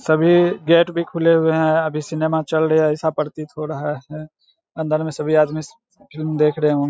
सभी गेट भी खुले हुए हैं अभी सिनेमा चल रहा है ऐसा प्रतित हो रहा है अंदर में सभी आदमी फिल्म देख रहें होंग --